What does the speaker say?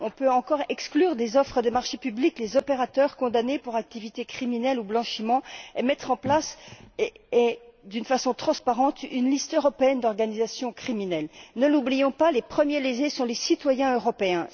On peut encore exclure des offres de marché public les opérateurs condamnés pour activités criminelles ou blanchiment, et mettre en place, d'une façon transparente, une liste européenne d'organisations criminelles. Ne l'oublions pas, les premiers lésés sont les citoyens européens.